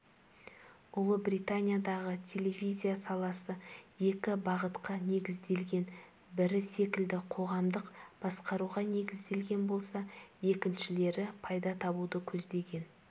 ұлыбританиядағы телевизия саласы екі бағытқа негізделген бірі секілді қоғамдық басқаруға негізделген болса екіншілері пайда табуды көздеген